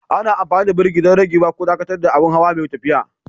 Ana amfani da birki don ragewa ko dakatar da abin hawa mai tafiya.